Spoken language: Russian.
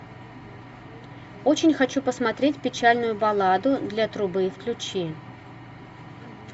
очень хочу посмотреть печальную балладу для трубы включи